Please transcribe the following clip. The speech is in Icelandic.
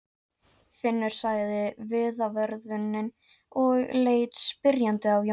Finnur sagði vitavörðurinn og leit spyrjandi á Jón.